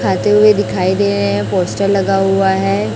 खाते हुए दिखाई दे रहे हैं पोस्टर लगा हुआ है।